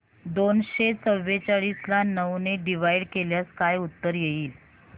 दोनशे चौवेचाळीस ला नऊ ने डिवाईड केल्यास काय उत्तर येईल